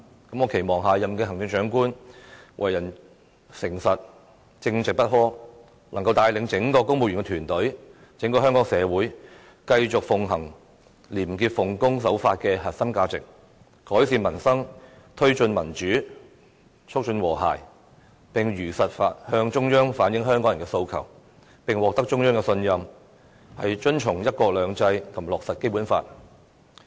我期望下任行政長官為人誠實、正直不阿，能夠帶領整個公務員團隊、整個香港社會，繼續奉行廉潔、奉公守法的核心價值，改善民生，推進民主，促進和諧，並如實向中央反映香港人的訴求，並獲得中央的信任，遵循"一國兩制"和落實《基本法》。